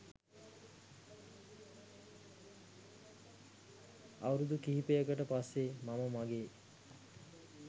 අවුරුදු කිහිපයකට පස්සේ මම මගේ